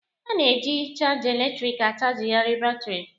A na-eji chaja eletrịkị achajịgharị batrị.